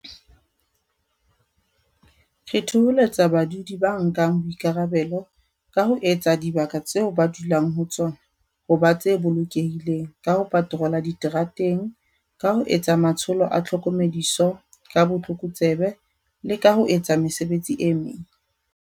Re thoholetsa badudi ba nkang boikarabelo ba ho etsa dibaka tseo ba dulang ho tsona ho ba tse bolokehileng ka ho paterola diterateng, ka ho etsa matsholo a tlhokomediso ka botlokotsebe le ka ho etsa mesebetsi e meng.